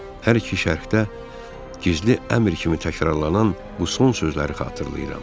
Hər iki şərhdə gizli əmr kimi təkrarlanan bu son sözləri xatırlayıram.